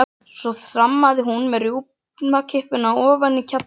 Svo þrammaði hún með rjúpnakippuna ofan í kjallara.